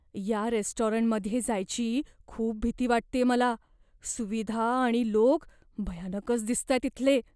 या रेस्टॉरंटमध्ये जायची खूप भीती वाटतेय मला. सुविधा आणि लोक, भयानकच दिसतायत इथले.